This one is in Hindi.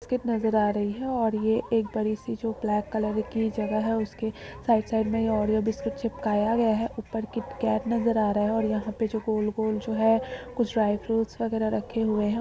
बिस्किट नजर आ रही है और ये एक बड़ी-सी जो ब्लैक कलर की जगह उसके साइड साइड में ओरिओ के बिस्किट चिपकाया गया है। ऊपर किटकैट नजर आ रहा है और यहाँ पर जो यह गोल-गोल जो है कुछ ड्राई फ्रूट्स वगेरा रखे हुए हैं।